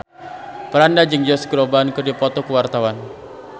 Franda jeung Josh Groban keur dipoto ku wartawan